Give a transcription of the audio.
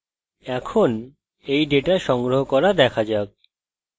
এখন এই ডেটা সংগ্রহ করা data যাক